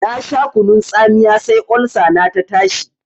Na sha kunun tsamiya sai Olsa na ta tashi.